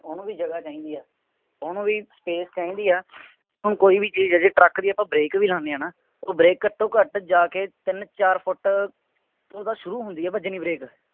ਉਹਨੂੰ ਵੀ ਜਗ੍ਹਾ ਚਾਹੀਦੀ ਹੈ। ਉਹਨੂੰ ਵੀ space ਚਾਹੀਦੀ ਹੈ। ਹੁਣ ਕੋਈ ਵੀ ਚੀਜ਼ ਹੈ, ਜੇ ਟਰੱਕ ਦੀ ਆਪਾਂ ਬਰੇਕ ਵੀ ਲਾਉਂਦੇ ਆ, ਹੈ ਨਾ, ਉਹ ਬਰੇਕ ਘੱਟੋ ਘੱਟ ਜਾ ਕੇ ਤਿੰਂਨ ਚਾਰ ਫੁੱਟ ਉਦੋਂ ਸ਼ੁਰੂ ਹੁੰਦੀ ਹੈ ਵੱਜਣੀ ਬਰੇਕ।